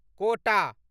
quota